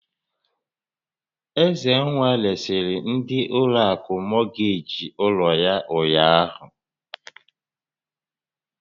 Ezenwa resịrị ndị ụlọ akụ mọgeeji ụlọ yá ụnyaahụ.